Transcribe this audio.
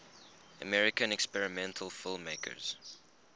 american experimental filmmakers